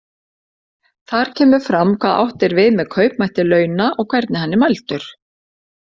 Þar kemur fram hvað átt er við með kaupmætti launa og hvernig hann er mældur.